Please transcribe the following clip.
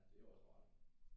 Ja det er også rart